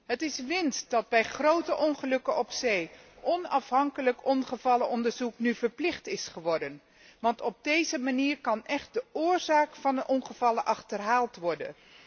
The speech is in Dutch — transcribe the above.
Het is winst dat bij grote ongelukken op zee onafhankelijk ongevallenonderzoek nu verplicht is geworden, want op deze manier kan de oorzaak van ongevallen echt achterhaald worden.